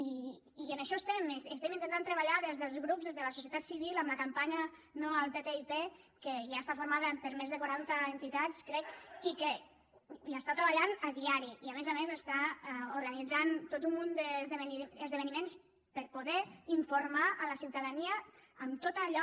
i en això estem estem intentant treballar des dels grups des de la societat civil amb la campanya no al ttip que ja està formada per més de quaranta entitats crec i que hi està treballant a diari i a més a més està organitzant tot un munt d’esdeveniments per a poder informar la ciutadania en tot allò